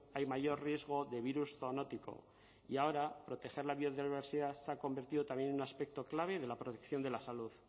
hay mayor riesgo de virus zoonótico y ahora proteger la biodiversidad se ha convertido también en un aspecto clave de la protección de la salud